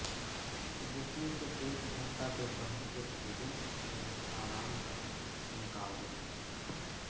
जिसमें से एक घंटा दोपहर के भोजन एवं आराम का निकाल देते हैं